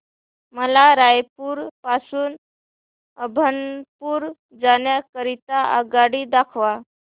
मला रायपुर पासून अभनपुर जाण्या करीता आगगाडी दाखवा